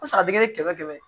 kɛmɛ kɛmɛ